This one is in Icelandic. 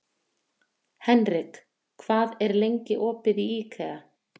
Henrik, hvað er lengi opið í IKEA?